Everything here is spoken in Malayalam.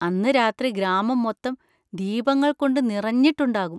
അന്ന് രാത്രി ഗ്രാമം മൊത്തം ദീപങ്ങള്‍ കൊണ്ട് നിറഞ്ഞിട്ടുണ്ടാകും.